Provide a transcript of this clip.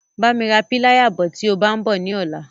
Bá mi ra píláyà bọ̀ tí o bá ń bọ̀ ní ọ̀la.